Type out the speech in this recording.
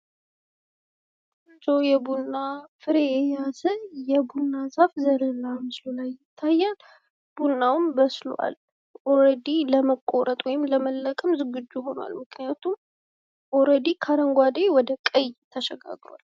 የቡና ፍሬ የያዘ የቡና ዛፍ ዘር በምስሉ ላይ ይታያል ። ቡናውም በስሏል ለመቆረጥና ለመለቀም ዝግጁ ሆኗል፤ ምክንያቱም ከአረንጓዴ ወደ ቀይ ተሸጋግሯል